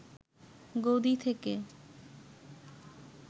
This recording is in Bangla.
গদি থেকে